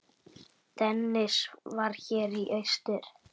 Dennis var hér í austur.